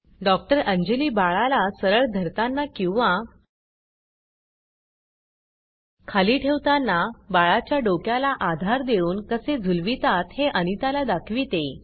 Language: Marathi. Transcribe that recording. डॉक्टर अंजली बाळाला सरळ धरतांना किंवा खाली ठेवतांना बाळाच्या डोक्याला आधार देऊन कसे झुलवीतात हे अनितला दाखविते